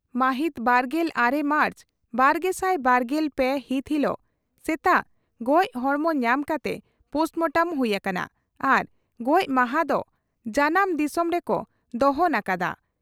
ᱢᱟᱦᱤᱛ ᱵᱟᱨᱜᱮᱞ ᱟᱨᱮ ᱢᱟᱨᱪ ᱵᱟᱨᱜᱮᱥᱟᱭ ᱵᱟᱨᱜᱮᱞ ᱯᱮ ᱦᱤᱛ ᱦᱤᱞᱚᱜ ᱥᱮᱛᱟᱜ ᱜᱚᱡᱽ ᱦᱚᱲᱢᱚ ᱧᱟᱢ ᱠᱟᱛᱮ ᱯᱚᱥᱴᱢᱚᱴᱚᱢ ᱦᱩᱭ ᱟᱠᱟᱱᱟ ᱟᱨ ᱜᱚᱡᱽᱢᱟᱦᱟ ᱫᱚ ᱡᱟᱱᱟᱢ ᱫᱤᱥᱚᱢ ᱨᱮᱠᱚ ᱫᱚᱦᱚᱱ ᱟᱠᱟᱫᱼᱟ ᱾